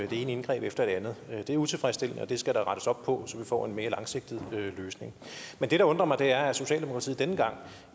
det ene indgreb efter det andet det er utilfredsstillende og det skal der rettes op på så vi får en mere langsigtet løsning men det der undrer mig er at socialdemokratiet denne gang